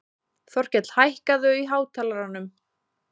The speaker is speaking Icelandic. Þorkell, hækkaðu í hátalaranum.